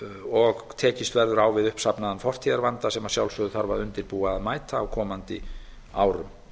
og tekist verður á við uppsafnaðan fortíðarvanda sem að sjálfsögðu þarf að undirbúa og mæta á komandi árum